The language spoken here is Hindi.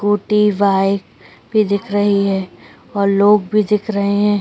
स्कूटी बाइक भी दिख रही है और लोग भी दिख रहे हैं।